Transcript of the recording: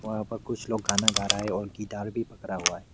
वहां पर कुछ लोग गाना गा रहा है और गिटार भी पकड़ा हुआ है।